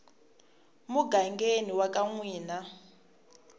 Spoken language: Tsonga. mugangeni wa ka n wina